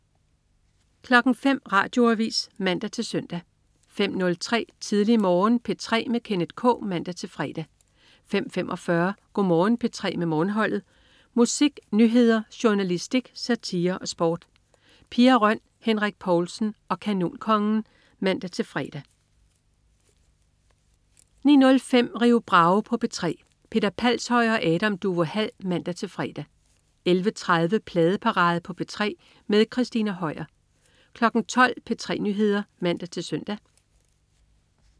05.00 Radioavis (man-søn) 05.03 Tidlig Morgen på P3 med Kenneth K (man-fre) 05.45 Go' Morgen P3 med Morgenholdet. Musik, nyheder, journalistik, satire og sport. Pia Røn, Henrik Povlsen og Kanonkongen (man-fre) 09.05 Rio Bravo på P3. Peter Palshøj og Adam Duvå Hall (man-fre) 11.30 Pladeparade på P3 med Christina Høier 12.00 P3 Nyheder (man-søn)